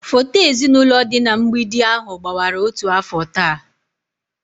Foto ezinụlọ dị na mgbidi ahụ gbawara otu afọ taa